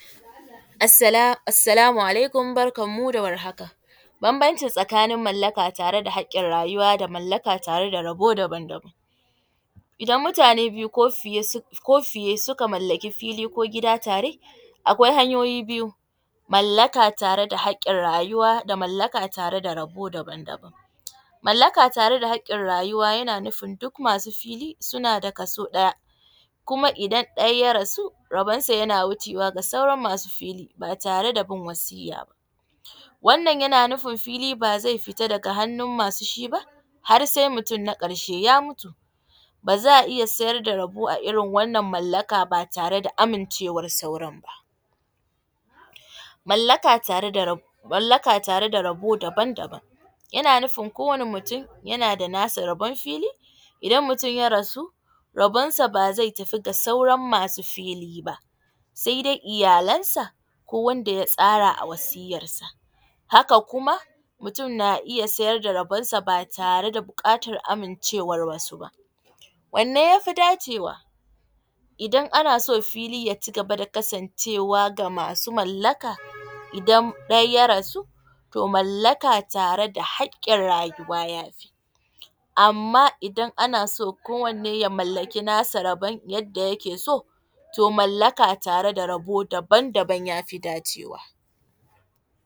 Assala assalamu alaikum, barkanmu da warhaka. Bambanci tsakanin mallaka tare da haƙƙin rayuwa da mallaka tare da rabo daban-daban. Idan mutane biyu ko fiye su ko fiye suka mallaki fili ko gida tare, akwai hanyoyi biyu; mallaka tare da haƙƙin rayuwa da mallaka tare da rabo daban-daban. Mallaka tare da haƙƙin rayuwa yana nufin duk masu fili suna da kaso ɗaya, kuma idan ɗaya ya rasu rabonsa yana wuce wa ga sauran masu fili ba tare da bin wasiyya ba. Wannan yana nufin fili ba zai fita daga hannun masu shi ba har sai mutum na ƙarshe ya mutu, ba za a iya siyar da rabo a irin wannan mallaka ba tare da amincewar sauran ba. Mallaka tare da rab, mallaka tare da rabo daban-daban, yana nufin kowane mutum yana da nasa rabon fili, idan mutum ya rasu, rabonsa ba zai tafi ga sauran masu fili ba, sai dai iyalansa ko wanda ya tsara a wasiyyarsa. Haka kuma mutum na iya sayar da rabonsa ba tare da buƙatar amincewar wasu ba. Wanne ya fi dace wa idan ana so fili ya cigaba da kasancewa ga masu mallaka, idan ɗaya ya rasu, to mallaka tare da haƙƙin rayuwa ya fi. Amma idan ana so ko wanne ya mallaki nasa rabon yadda yake so, to mallaka tare da rabo daban-daban ya fi dacewa.